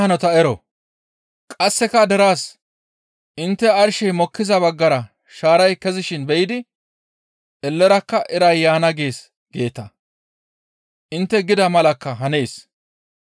Qasseka derezas, «Intte arshey mokkiza baggara shaaray kezishin be7idi, ‹Ellerakka iray yaana gees› geeta; intte gida malakka hanees.